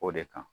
O de kan